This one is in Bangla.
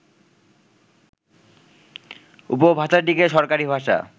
উপভাষাটিকে সরকারী ভাষা